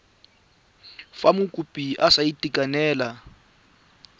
fa mokopi a sa itekanela